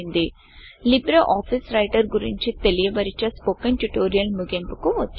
Libre office writer గురించి తెలియ బరిచే స్పోకెన్ ట్యుటోరియల్ ముగింపుకు వచ్చాం